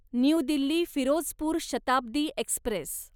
new Delhi Firozpur Shatabdi Express